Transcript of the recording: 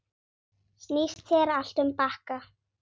Snýst hér allt um bakka.